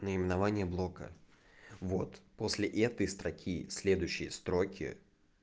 наименование блока вот после этой строки следующие строки